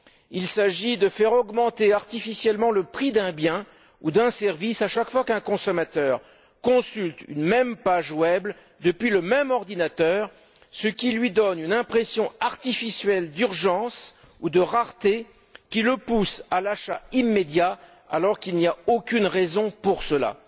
Il s'agit de faire augmenter artificiellement le prix d'un bien ou d'un service à chaque fois qu'un consommateur consulte une même page web depuis le même ordinateur, ce qui lui donne une impression artificielle d'urgence ou de rareté qui le pousse à l'achat immédiat alors qu'il n'y a aucune raison à cela.